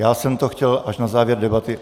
Já jsem to chtěl až na závěr debaty.